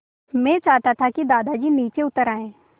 मैं चाहता था कि दादाजी नीचे उतर आएँ